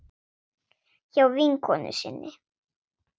Hjá vinkonu sinni?